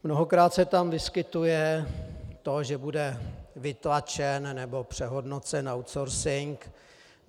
Mnohokrát se tam vyskytuje to, že bude vytlačen nebo přehodnocen outsourcing.